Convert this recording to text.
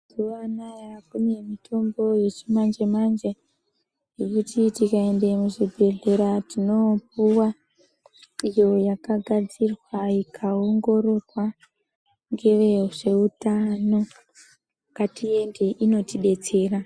Mazuwa anaya kune mitombo yechimanje manje yekuti tikaenda muzvibhedhlera tinoopuwa iyo yakagadzirwa ikaongororwa ngevezveutano ngatiende inotidetsera.